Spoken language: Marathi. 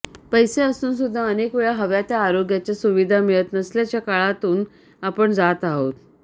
पैसे असून सुद्धा अनेकवेळा हव्या त्या आरोग्याच्या सुविधा मिळत नसल्याच्या काळातून आपण जात आहोत